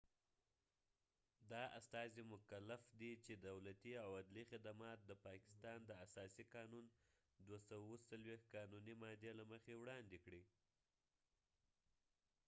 دا استازی مکف دي چې دولتي او عدلی خدمات د پاکستان د اساسی قانون 247 قانونی مادي له مخې وړاندي کړي